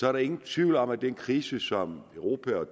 er der ingen tvivl om at den krise som europa og